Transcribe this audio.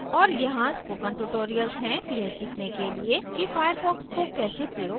और यहाँ spoken tutorials हैं यह सीखने के लिए कि firefox को कैसे प्रयोग करते हैं